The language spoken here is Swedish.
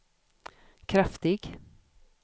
kraftig